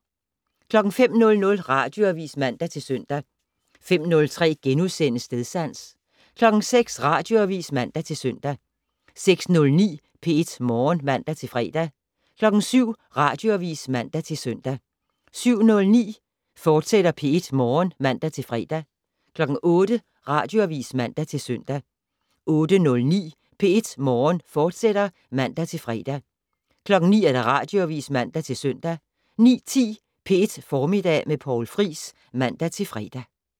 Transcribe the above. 05:00: Radioavis (man-søn) 05:03: Stedsans * 06:00: Radioavis (man-søn) 06:09: P1 Morgen (man-fre) 07:00: Radioavis (man-søn) 07:09: P1 Morgen, fortsat (man-fre) 08:00: Radioavis (man-søn) 08:09: P1 Morgen, fortsat (man-fre) 09:00: Radioavis (man-søn) 09:10: P1 Formiddag med Poul Friis (man-fre)